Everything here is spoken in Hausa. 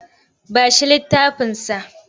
Ba shi littafinsa!